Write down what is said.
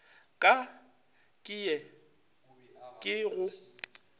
ka ke ye ke go